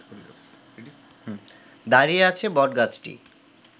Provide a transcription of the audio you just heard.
দাঁড়িয়ে আছে বটগাছটি